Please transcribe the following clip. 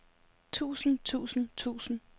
tusind tusind tusind